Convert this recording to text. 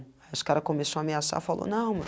Aí, esse cara começou a ameaçar, falou, não, mano.